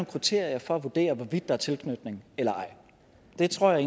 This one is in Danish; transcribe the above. kriterier for at vurdere hvorvidt der tilknytning eller ej det tror jeg